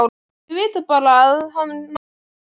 Þau vita bara að hann á Kol.